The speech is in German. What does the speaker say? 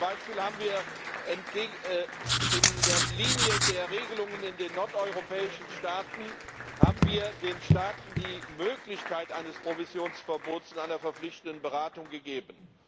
Zum Beispiel haben wir in der Linie der Regelungen in den nordeuropäischen Staaten den Staaten die Möglichkeit eines Provisionsverbots und einer verpflichtenden Beratung gegeben.